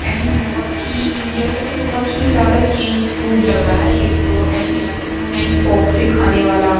And बोहोत ही India से तो बोहोत ही ज्यादा चेंज फूड लग रहा है ये तो एंड स्पून एंड फॉर्क से खाने वाला।